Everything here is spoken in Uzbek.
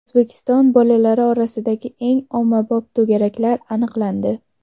O‘zbekiston bolalari orasidagi eng ommabop to‘garaklar aniqlandi.